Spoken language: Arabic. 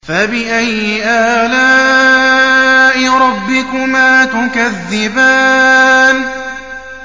فَبِأَيِّ آلَاءِ رَبِّكُمَا تُكَذِّبَانِ